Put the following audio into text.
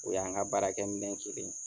O y'an ka baara kɛ minɛn kelen ye.